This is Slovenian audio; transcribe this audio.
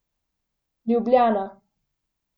Ljubljana.